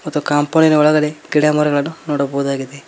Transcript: ಮತ್ತು ಕಾಂಪೌಂಡಿ ನ ಒಳಗಡೆ ಗಿಡಮರಗಳನ್ನು ನೋಡಬಹುದಾಗಿದೆ.